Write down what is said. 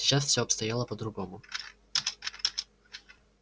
сейчас всё обстояло по-другому